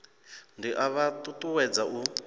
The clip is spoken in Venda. ndi a vha ṱuṱuwedza u